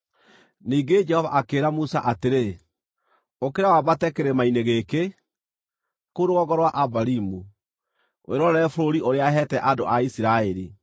Ningĩ Jehova akĩĩra Musa atĩrĩ, “Ũkĩra wambate kĩrĩma-inĩ gĩkĩ, kũu rũgongo rwa Abarimu, wĩrorere bũrũri ũrĩa heete andũ a Isiraeli.